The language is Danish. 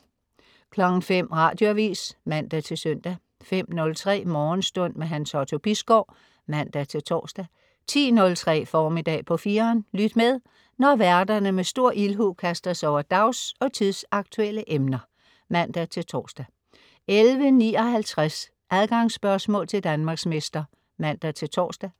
05.00 Radioavis (man-søn) 05.03 Morgenstund. Hans Otto Bisgaard (man-tors) 10.03 Formiddag på 4'eren. Lyt med, når værterne med stor ildhu kaster sig over dags- og tidsaktuelle emner (man-tors) 11.59 Adgangsspørgsmål til Danmarksmester (man-tors)